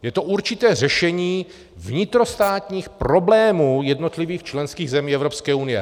Je to určité řešení vnitrostátních problémů jednotlivých členských zemí Evropské unie.